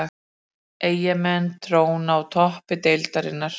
Eyjamenn tróna á toppi deildarinnar